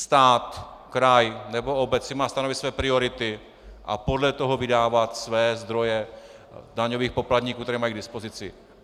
Stát, kraj nebo obec si má stanovit své priority a podle toho vydávat své zdroje daňových poplatníků, jaké mají k dispozici.